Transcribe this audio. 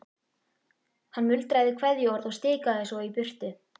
Hann muldraði kveðjuorð og stikaði svo í burtu.